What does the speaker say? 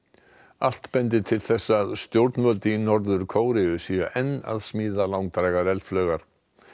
allt bendir til þess að stjórnvöld í Norður Kóreu séu enn að smíða langdrægar eldflaugar